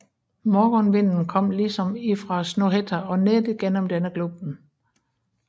Morgonvinden kom liksom ifraa Snohætta og nedigjenom denne Glupen